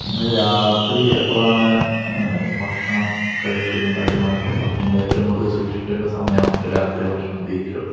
നിങ്ങൾ രാത്രി എപ്പോഴാണ് ഭക്ഷണമൊക്കെ കഴിക്കുന്നത് . നമ്മൾ ഏറ്റവും കൂടുതൽ സൂക്ഷിക്കേണ്ടത് രാത്രി ഭക്ഷണ രീതികളാണല്ലോ